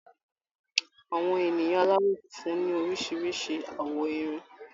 Àwọn ènìyàn aláwọ̀ funfun ní oríṣiríṣi àwọ̀ Irun.